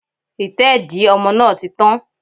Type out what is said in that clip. Ìtẹ́dìí ọmọ náà ti tán